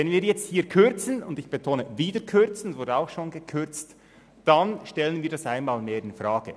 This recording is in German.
Wenn wir hier wieder kürzen – ich betone: wieder kürzen, denn es wurde auch schon gekürzt –, dann stellen wir das einmal mehr infrage.